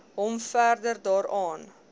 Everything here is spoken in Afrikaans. hom verder daaraan